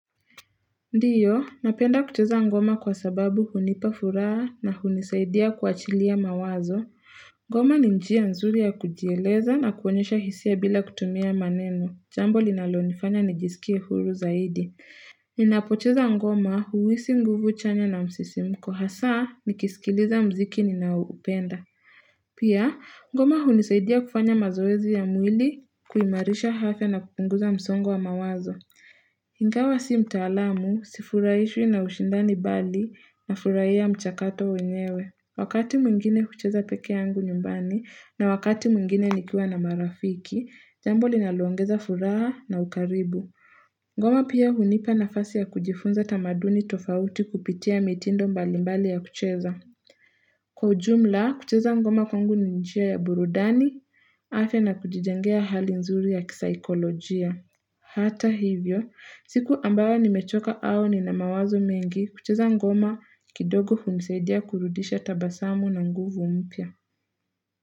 Ndiyo, napenda kucheza ngoma kwa sababu hunipa furaha na hunisaidia kuachilia mawazo. Ngoma ni njia nzuri ya kujieleza na kuonyesha hisia bila kutumia maneno. Jambo linalonifanya nijisikie huru zaidi. Ninapocheza ngoma, huisi nguvu chanya na msisimko hasaa, nikisikiliza mziki ninaoupenda. Pia, ngoma hunisaidia kufanya mazoezi ya mwili, kuimarisha hafya na kupunguza msongo wa mawazo. Ingawa si mtaalamu, sifurahishwi na ushindani bali, nafurahia mchakato wenyewe. Wakati mwingine hucheza peke yangu nyumbani, na wakati mwingine nikiwa na marafiki, jambo linaloongeza furaha na ukaribu. Ngoma pia hunipa nafasi ya kujifunza tamaduni tofauti kupitia mitindo mbalimbali ya kucheza. Kwa ujumla, kucheza ngoma kwangu ni njia ya burudani, afya na kujijengea hali nzuri ya kisaikolojia. Hata hivyo, siku ambayo nimechoka au nina mawazo mengi, kucheza ngoma kidogo hunisaidia kurudisha tabasamu na nguvu mpya.